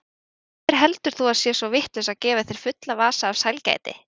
Hver heldur þú að sé svo vitlaus að gefa þér fulla vasa af sælgæti?